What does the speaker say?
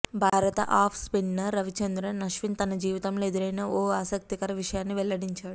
భారత off spinner Ravichandran Ashwin తన జీవితంలో ఎదురైన ఓ ఆసక్తికర విషయాన్ని వెల్లడించాడు